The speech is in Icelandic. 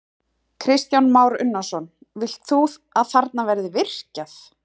Kristján Már Unnarsson: Vilt þú að þarna verði virkjað?